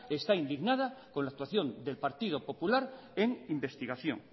está indignada con la actuación del partido popular en investigación